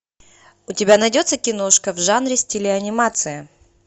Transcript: у тебя найдется киношка в жанре стиле анимация